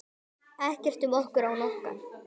Ekkert um okkur án okkar!